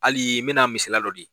Hali n bɛna misaliya dɔ di